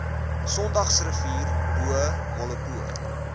sondagsrivier bo molopo